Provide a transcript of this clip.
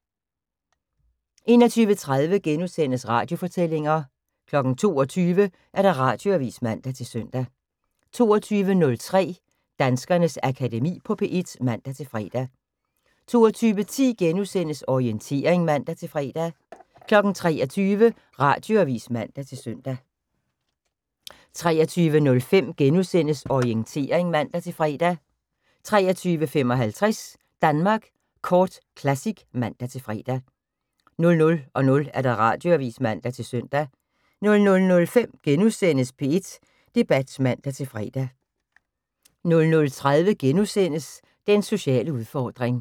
21:30: Radiofortællinger * 22:00: Radioavis (man-søn) 22:03: Danskernes Akademi på P1 (man-fre) 22:10: Orientering *(man-fre) 23:00: Radioavis (man-søn) 23:05: Orientering *(man-fre) 23:55: Danmark Kort Classic (man-fre) 00:00: Radioavis (man-søn) 00:05: P1 Debat *(man-fre) 00:30: Den sociale udfordring *